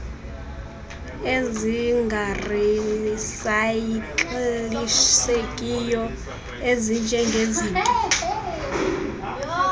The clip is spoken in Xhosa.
ezingarisay ikilishekiyo ezinjengezinto